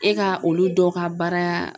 E ka olu dɔw ka baara